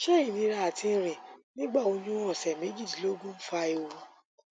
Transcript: ṣẹ ìnira àti rìn nígbà oyún ọsẹ méjìdínlógójì fa ewu